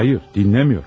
Xeyr, dinləmirəm.